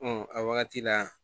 a wagati la